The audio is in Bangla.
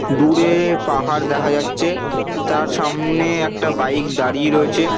দূরে পাহাড় দেখা যাচ্ছে তার সামনে একটা বাইক দাঁড়িয়ে রয়েছে।